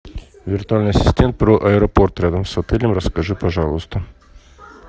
виртуальный ассистент про аэропорт рядом с отелем расскажи пожалуйста